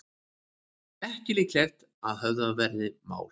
Ekki líklegt að höfðað verði mál